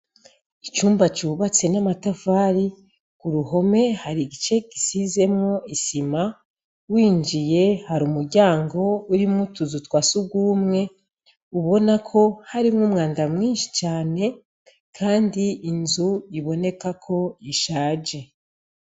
Icumba cubatse n' amatafari kuruhome hari igice gisizemwo isima winjiye hari umuryango urimwo utuzu twa sugumwe ubona ko harimwo umwanda mwinshi cane kandi inzu iboneka ko ishaje.